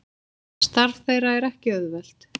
Starf þeirra er ekki auðvelt